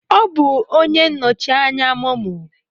Ọ bụ onye nnọchi anya MoMo.